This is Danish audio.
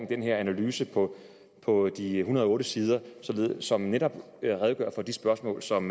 denne analyse på på de en hundrede og otte sider som netop redegør for de spørgsmål som